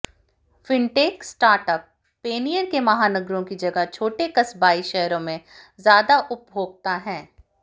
fintech startup पेनीयर के महानगरों की जगह छोटे कस्बाई शहरों में ज्यादा उपभोक्ता हैं